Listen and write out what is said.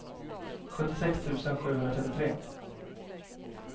sjuttiosex tusen sjuhundratrettiotre